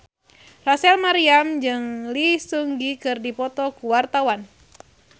Rachel Maryam jeung Lee Seung Gi keur dipoto ku wartawan